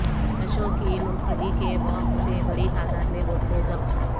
نعشوں کی منتقلی کے باکس سے بڑی تعداد میں بوتلیں ضبط